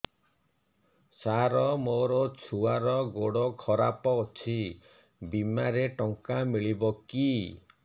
ସାର ମୋର ଛୁଆର ଗୋଡ ଖରାପ ଅଛି ବିମାରେ ଟଙ୍କା ମିଳିବ କି